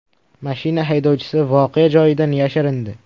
Mashina haydovchisi voqea joyidan yashirindi.